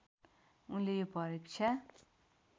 उनले यो परीक्षा